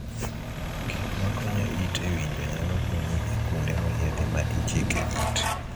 Gik makonyo it e winjo nyalo konyi e kuonde moyiedhi ma ichike it.